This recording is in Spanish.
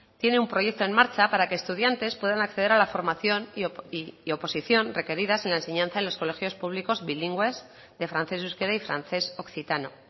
tiene un proyecto en marcha para que estudiantes puedan acceder a la formación y oposición requeridas en la enseñanza en los colegios públicos bilingües de francés euskera y francés occitano